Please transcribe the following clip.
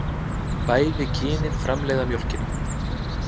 Bæði kynin framleiða mjólkina.